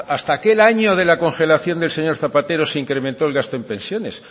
hasta aquel año de la congelación del señor zapatero se incrementó el gasto en pensiones